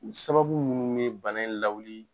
U sababu munnu ye bana in lawuli